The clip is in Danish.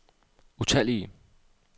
utallige